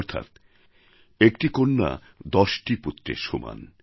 অর্থাৎ একটি কন্যা দশটি পুত্রের সমান